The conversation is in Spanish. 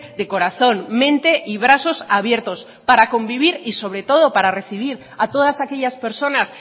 de corazón mente y brazos abiertos para convivir y sobre todo para recibir a todas aquellas personas